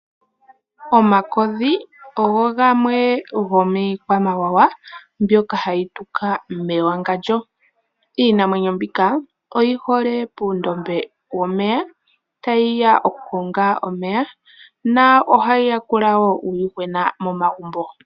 Omakodhi ogo gamwe gomiikwamawawa mbyoka hayi tuka mewangandjo. Iinamwenyo mbika oyi hole puundombe womeya tayi ya okukonga omeya nohayi yakula wo uuyuhwena momagumbo.